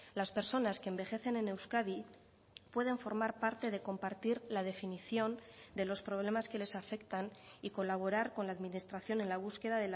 las personas que envejecen en euskadi pueden formar parte de compartir la definición de los problemas que les afectan y colaborar con la administración en la búsqueda